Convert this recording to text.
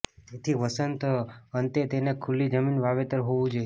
તેથી વસંત અંતે તેને ખુલ્લી જમીન વાવેતર હોવું જોઈએ